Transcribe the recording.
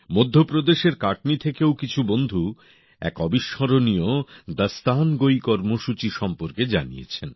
মধ্যপ্রদেশের কাটনি থেকেও কিছু বন্ধু এক অবিস্মরণীয় দাস্তানগোঈ কর্মসূচী সম্পর্কে জানিয়েছেন